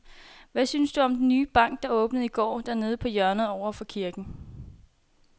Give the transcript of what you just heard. Hvad synes du om den nye bank, der åbnede i går dernede på hjørnet over for kirken?